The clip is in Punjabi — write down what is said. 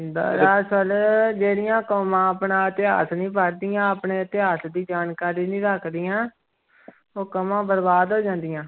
ਦਰਅਸਲ ਜਿਹੜੀਆਂ ਕੌਮਾਂ ਆਪਣਾ ਇਤਿਹਾਸ ਨੀ ਪੜ੍ਹਦੀਆਂ ਆਪਣੇ ਇਤਿਹਾਸ ਦੀ ਜਾਣਕਾਰੀ ਨੀ ਰੱਖਦੀਆਂ ਉਹ ਕੋਮਾਂ ਬਰਬਾਦ ਹੋ ਜਾਂਦੀਆਂ।